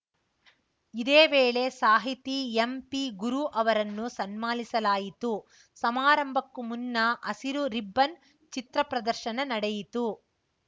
ಇದೇ ವೇಳೆ ಸಾಹಿತಿ ಎಂಪಿಗುರು ಅವರನ್ನು ಸನ್ಮಾನಿಸಲಾಯಿತು ಸಮಾರಂಭಕ್ಕೂ ಮುನ್ನ ಹಸಿರು ರಿಬ್ಬನ್‌ ಚಿತ್ರ ಪ್ರದರ್ಶನ ನಡೆಯಿತು